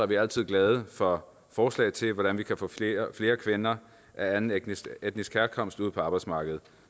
vi altid glade for forslag til hvordan vi kan få flere kvinder af anden etnisk etnisk herkomst ud på arbejdsmarkedet